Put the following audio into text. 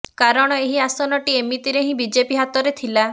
କାରଣ ଏହି ଆସନଟି ଏମିତିରେ ହିଁ ବିଜେପି ହାତରେ ଥିଲା